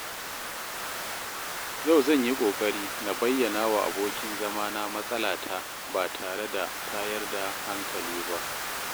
Yau zan yi ƙoƙari na bayyanawa abokin zamana matsalata ba tare da tayar da hankali ba.